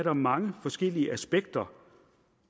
er mange forskellige aspekter